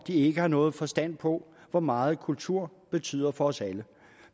ikke har nogen forstand på hvor meget kultur betyder for os alle